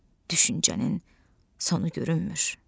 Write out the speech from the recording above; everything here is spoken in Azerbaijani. düşüncənin sonu görünmür.